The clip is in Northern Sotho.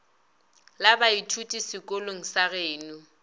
la baithuti sekolong sa geno